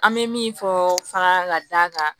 An bɛ min fɔ fara ka da kan